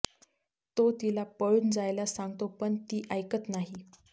तो तिला पळून जायला सांगतो पण ती ऐकत नाही